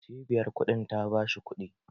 Cibiyar kuɗin ta bashi kuɗi